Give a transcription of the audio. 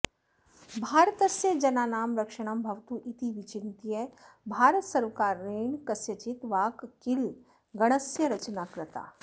भारतस्य जनानां रक्षणं भवतु इति विचिन्त्य भारतसर्वकारेण कस्यचित् वाक्कीलगणस्य रचना कृता